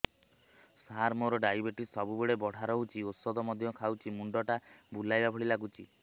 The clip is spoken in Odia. ସାର ମୋର ଡାଏବେଟିସ ସବୁବେଳ ବଢ଼ା ରହୁଛି ଔଷଧ ମଧ୍ୟ ଖାଉଛି ମୁଣ୍ଡ ଟା ବୁଲାଇବା ଭଳି ଲାଗୁଛି